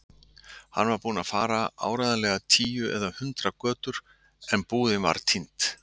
Hún var búin að fara áreiðanlega tíu eða hundrað götur- en búðin var týnd.